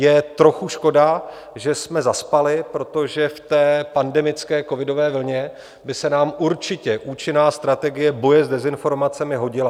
Je trochu škoda, že jsme zaspali, protože v té pandemické covidové vlně by se nám určitě účinná strategie boje s dezinformacemi hodila.